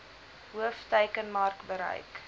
hoof teikenmark bereik